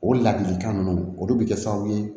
O laadilikan ninnu olu bɛ kɛ sababu ye